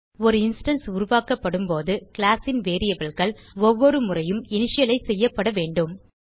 ஒரு இன்ஸ்டான்ஸ் உருவாக்கப்படும் போது கிளாஸ் ன் variableகள் ஒவ்வொரு முறையும் இனிஷியலைஸ் செய்யப்படவேண்டும்